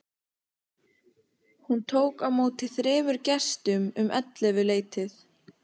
Hún tók á móti þremur gestum um ellefuleytið.